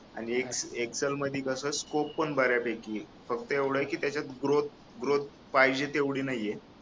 आणि एक्सेल मध्ये कसं स्कोप पण बऱ्यापैकी आहे फक्त एवढ आहे की त्याच्यात ग्रोथ ग्रोथ पाहिजे तेवढी नाहीये